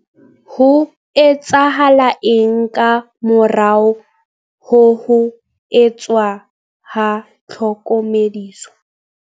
Ho etsahala eng ka morao ho ho etswa ha tlhokomediso?